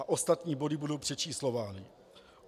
A ostatní body budou přečíslovány.